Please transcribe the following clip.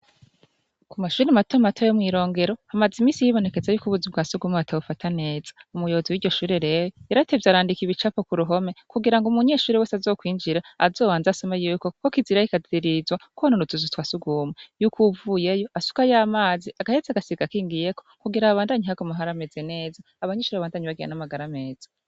Ku mashuri matema mato yo mw'irongero hamaze imisi yibonekeza yuko ubuzi ubwa suguma batabufata neza u muyobozi w'iryo shure rewo iratevye arandiki e ibicapo ku ruhome kugira ngo umunyeshuri wese azokwinjira azowanzasome yuko, kuko kizirahikazirizwa ko hanonutuzu twa sugumwa yuko uwuvuyeyo asuka y'amazi agahetse agasiga kingiyeko kugira ababandanyi hagoma hariameze neza abanyishuri bantamnyi bagyana n'amagara ameza.